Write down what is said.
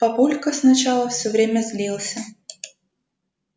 папулька сначала всё время злился